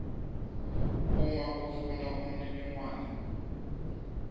uma ufuna umniningwane